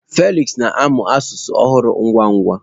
Felix na-amụ asụsụ ọhụrụ ngwa ngwa.